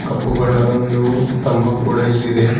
ಕಪ್ಪು ಬಣ್ಣದ ಒಂದು ಸ್ತಂಭ ಕೂಡ ಇಲ್ಲಿದೆ.